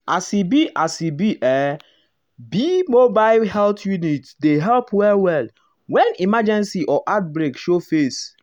as e beas beas e be mobile health unit dey help well-well when emergency or outbreak show face.